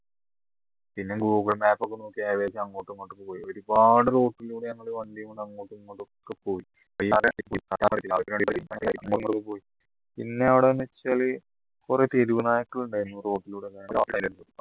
പിന്നെ google map ഒക്കെ നോക്കി ഏകദേശം അങ്ങോട്ടും ഇങ്ങോട്ടും പോയി ഒരുപാട് road ലൂടെ നമ്മളെ വണ്ടിയും കൊണ്ട് അങ്ങോട്ടുമിങ്ങോട്ടും ഒക്കെ പോയി പിന്നെ അവിടെ എന്നുവെച്ചാൽ കുറെ തെരുവ് നായകൾ ഉണ്ടായിരുന്നു road ലൂടെ